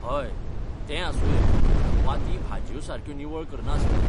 हय, तें आसुंये वा ती भाजयो सारक्यो निवळ करना आसतली.